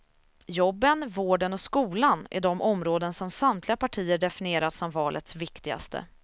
Jobben, vården och skolan är de områden som samtliga partier definierat som valets viktigaste.